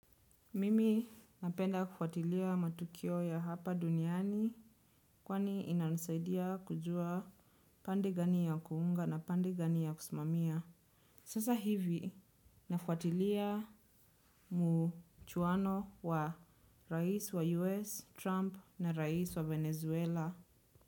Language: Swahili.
Mimi napenda kufuatilia matukio ya hapa duniani kwani inanisaidia kujua pande gani ya kuunga na pande gani ya kusimamia. Sasa hivi nafuatilia mchuwano wa rais wa US, Trump na rais wa Venezuela.